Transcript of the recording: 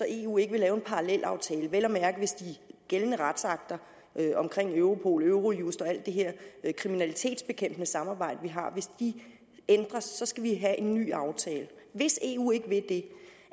eu ikke vil lave en parallelaftale vel at mærke hvis de gældende retsakter omkring europol eurojust og alt det her kriminalitetsbekæmpelsessamarbejde vi har ændres så skal vi have en ny aftale hvis eu ikke vil det